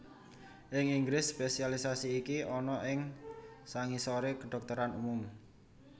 Ing Inggris spesialisasi iki ana ing sangisoré kedhokteran umum